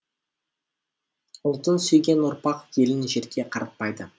ұлтын сүйген ұрпақ елін жерге қаратпайды